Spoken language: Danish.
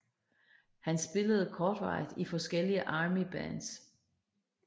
Han spillede kortvarigt i forskellige Armybands